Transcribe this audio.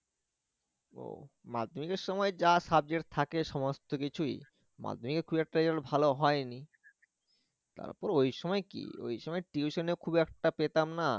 ও মাধ্যমিকের সময় যা subject থাকে সমস্ত কিছুই মাধ্যমিকে খুব একটা রেজাল্ট ভালো হয়নি তারপর ওই সময় কি ওই সময় tuition এ খুব একটা পেতাম না